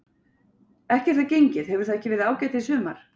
Ekki er það gengið, hefur það ekki verið ágætt í sumar?